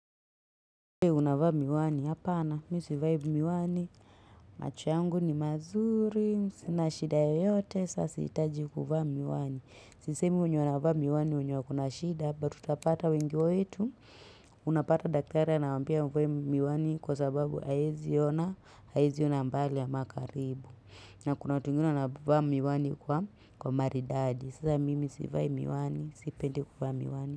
Uwe unavaa miwani, hapa ana, miu sivai miwani, machu yangu ni mazuri, sinashida yote, sasi itaji kufaa miwani. Sise miu unavaa miwani, unyokunashida, but utapata wengi wetu, unapata daktari na wampia uwe miwani kwa sababu hawezi ona, hawezi ona mbali ama karibu. Na kunatunguna unavaa miwani kwa maridadi, sasa mimi survive miwani, sipende kufaa miwani.